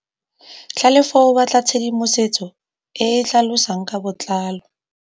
Tlhalefô o batla tshedimosetsô e e tlhalosang ka botlalô.